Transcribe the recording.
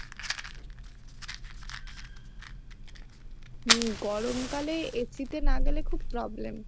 হম গরমকালে AC তে না গেলে খুব problem